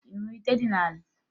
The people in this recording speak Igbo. Ị hụrụ ite dị n'ala?